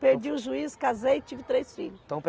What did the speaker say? Perdi o juízo, casei e tive três filhos. Então